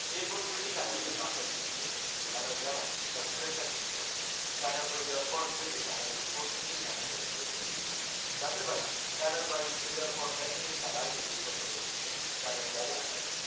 এর পর ফ্রেড্ডি কায়েনাথ কে বাসায় রেখে আসতে চায়। কিন্তু কায়েনাথ জানায় তার ফ্রেন্ড তাকে নিতে আসবে, কায়েনাথ চলে যাওয়ার পরে ফ্রেডি কায়েনাথ এর রিপোর্ট থেকে কায়নাথের এড্রেস জেনে নেয়, রাতের বেলা কায়নাথ বাড়িতে ফিরে যাওয়ার পর দেখে তার আগে রুস্তম ফিরে এসেছে, কায়নাথ বাইরে থাকায়